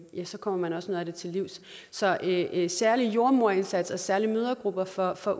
ja så kommer man også noget af det til livs så en særlig jordemoderindsats og særlige mødregrupper for for